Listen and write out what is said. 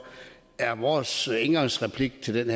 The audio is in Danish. er vores indgangsreplik til